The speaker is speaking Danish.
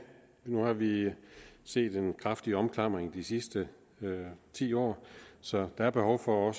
nu har vi set en kraftig omklamring de sidste ti år så der er behov for